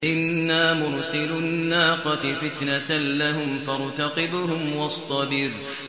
إِنَّا مُرْسِلُو النَّاقَةِ فِتْنَةً لَّهُمْ فَارْتَقِبْهُمْ وَاصْطَبِرْ